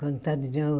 Contar de de novo.